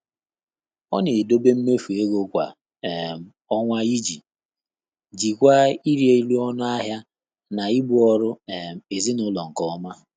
Ọ́ nà-édòbé mméfù égo kwá um ọ́nwá ìjí jíkwáá ị́rị́ élú ọnụ́ áhị́à nà íbù ọ́rụ́ um èzínụ́lọ́ nké ọ́mà.